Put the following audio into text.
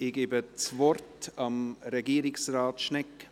Ich gebe das Wort Regierungsrat Schnegg.